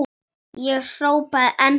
Ég hrópaði enn hærra.